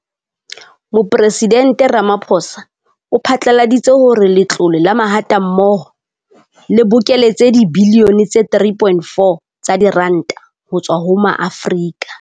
Mopresidente Ramaphosa o phatlaladitse hore Letlole la Mahatammoho le bokeletse dibilione tse 3.4 tsa diranta ho tswa ho Maafrika